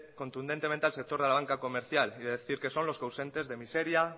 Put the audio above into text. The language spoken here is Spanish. contundentemente al sector de la banca comercial y de decir que son los causantes de miseria